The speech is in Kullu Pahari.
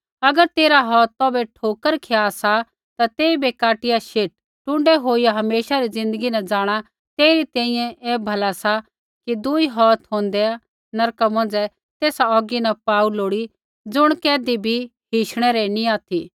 अगर तेरा हौथ तौभै ठोकर खिया सा ता तेइबै काटिया शेट टुण्डै होईया हमेशा री ज़िन्दगी न जाँणा तेरै तैंईंयैं ऐ भला सा कि दुई हौथ होंदै नरका मौंझ़ै तेसा औगी न पाऊ लोड़ी ज़ुण कैधी भी हिशणै री नी ऑथि